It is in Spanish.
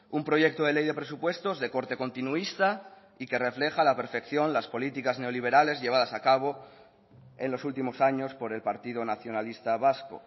un proyecto de ley de presupuestos de corte continuista y que refleja a la perfección las políticas neoliberales llevadas a cabo en los últimos años por el partido nacionalista vasco